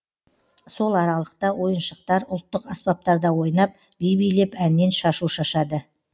сол аралықта ойыншықтар ұлттық аспаптарда ойнап би билеп әннен шашу шашады